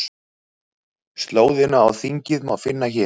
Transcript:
Slóðina á þingið má finna hér